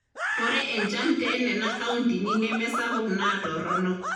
Ore enchan tenena kauntini neme sapuk naa torrono.